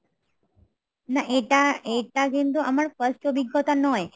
না এটি এটা কিন্তু আমার first অভিজ্ঞতা নয়